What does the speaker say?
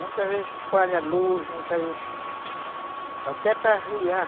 Muitas vezes falha a luz, muitas vezes... Até para ariar.